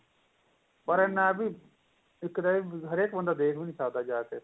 ਪਰ ਨਾ ਬੀ ਇੱਕ ਤੇ ਹਰੇਕ ਬੰਦਾ ਦੇਖ ਵੀ ਨਹੀਂ ਸਕਦਾ ਜਾ ਕੇ